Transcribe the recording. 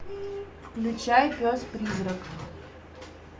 включай пес призрак